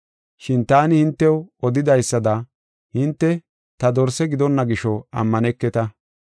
Shin taani hintew odidaysada hinte ta dorse gidonna gisho ammaneketa.